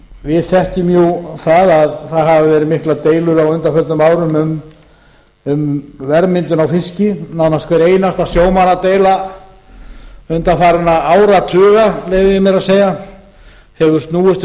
við þekkjum það að það hafa verið miklar deilur á undanförnum árum um verðmyndun á fiski nánast hver einasta sjómannadeila undanfarinna áratuga leyfi ég mér að segja hefur snúist